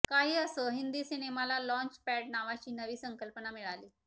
काही असो हिंदी सिनेमाला लाँच पॅड नावाची नवी संकल्पना मिळाली